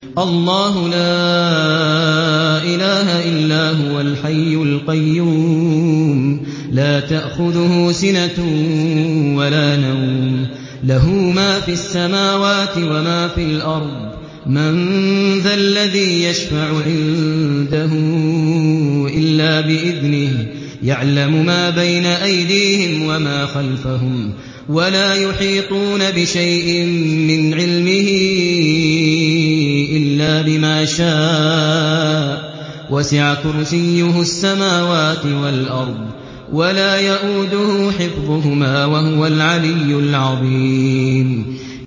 اللَّهُ لَا إِلَٰهَ إِلَّا هُوَ الْحَيُّ الْقَيُّومُ ۚ لَا تَأْخُذُهُ سِنَةٌ وَلَا نَوْمٌ ۚ لَّهُ مَا فِي السَّمَاوَاتِ وَمَا فِي الْأَرْضِ ۗ مَن ذَا الَّذِي يَشْفَعُ عِندَهُ إِلَّا بِإِذْنِهِ ۚ يَعْلَمُ مَا بَيْنَ أَيْدِيهِمْ وَمَا خَلْفَهُمْ ۖ وَلَا يُحِيطُونَ بِشَيْءٍ مِّنْ عِلْمِهِ إِلَّا بِمَا شَاءَ ۚ وَسِعَ كُرْسِيُّهُ السَّمَاوَاتِ وَالْأَرْضَ ۖ وَلَا يَئُودُهُ حِفْظُهُمَا ۚ وَهُوَ الْعَلِيُّ الْعَظِيمُ